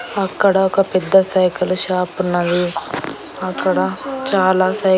అక్కడ ఒక పెద్ద సైకిలు షాప్ ఉన్నది అక్కడ చాలా సై.